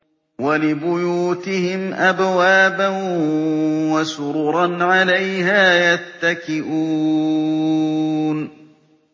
وَلِبُيُوتِهِمْ أَبْوَابًا وَسُرُرًا عَلَيْهَا يَتَّكِئُونَ